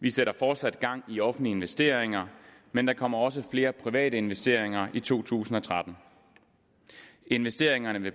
vi sætter fortsat gang i offentlige investeringer men der kommer også flere private investeringer i to tusind og tretten investeringerne vil